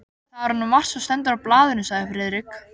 Það er nú margt sem stendur í blaðinu sagði Friðrik.